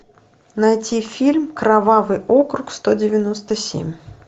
найти фильм кровавый округ сто девяносто семь